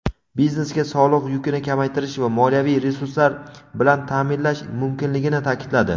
biznesga soliq yukini kamaytirish va moliyaviy resurslar bilan ta’minlash muhimligini ta’kidladi.